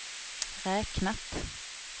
räknat